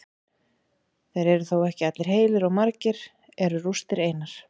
Þeir eru þó ekki allir heilir og margir eru rústir einar.